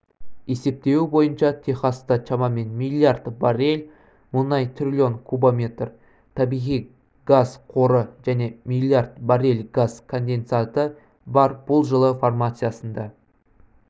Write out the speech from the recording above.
есептеуі бойынша техаста шамамен миллиард баррель мұнай триллион кубометр табиғи газ қоры және миллиард баррель газ конденсаты бар бұл жылы формациясында